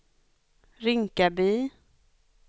Rinkaby